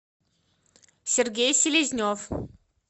сергей селезнев